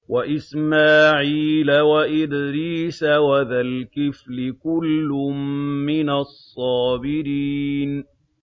وَإِسْمَاعِيلَ وَإِدْرِيسَ وَذَا الْكِفْلِ ۖ كُلٌّ مِّنَ الصَّابِرِينَ